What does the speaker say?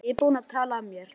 Ég er búinn að tala af mér.